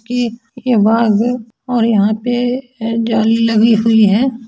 एक बाघ है और यहाँ पे ए जाली लगी हुई है।